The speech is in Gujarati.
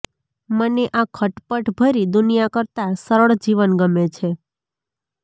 મને આ ખટપટ ભરી દુનિયા કરતા સરળ જીવન ગમે છે